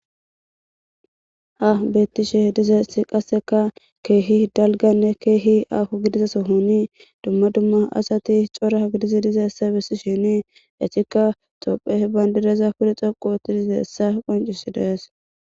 Ha betishe dizaysi qaseka kehi dalgane kehi aho gidida kethi diza sohoni dumma dumma asati dizaysa besishin haysika tophiya bandiraza pude dhoqu histodi dizaysa qoncisides